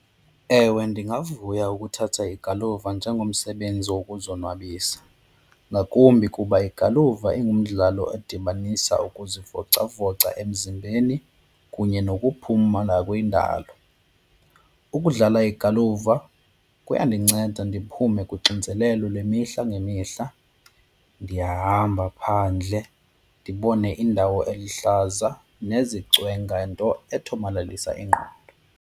Ewe, ndingavuya ukuthatha igaluva njengomsebenzi wokuzonwabisa ngakumbi kuba igaluva ingumdlalo edibanisa ukuzivocavoca emzimbeni kunye nokuphumla kwindalo. Ukudlala igaluva kuyandinceda ndiphume kuxinzelelo lemihla ngemihla, ndiyahamba phandle ndibone indawo eluhlaza nezicwenga, nto ethomalalisa ingqondo.